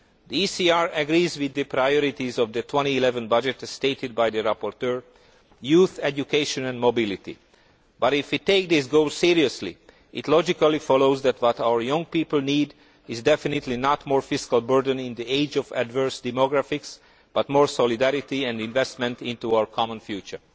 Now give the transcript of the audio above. The ECR agrees with the priorities of the 2011 budget as stated by the rapporteur youth, education and mobility but, if we take these goals seriously, it logically follows that what our young people need is definitely not a greater fiscal burden in the age of adverse demographics, but more solidarity and investment in our common future.